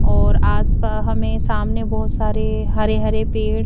और आसपा हमें सामने बहोत सारे हरे हरे पेड़--